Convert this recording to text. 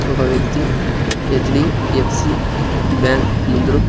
ఒక వేక్తి HDFC bank ముందురు--